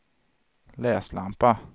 läslampa